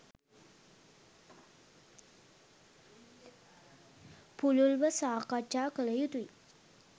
පුළුල්ව සාකච්ඡා කළ යුතුයි.